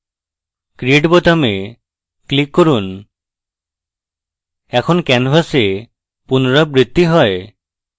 create বোতামে click করুন এখন canvas পুনরাবৃত্তি হয়